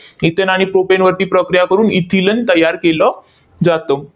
Ethane आणि प्रोपेनवरती प्रक्रिया करून इथिलिन तयार केलं जातं.